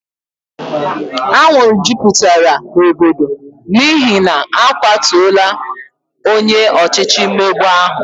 Anwụrụ jupụtara n'obodo n', n'ihi n'akwatora onye ọchịchị mmegbu ahu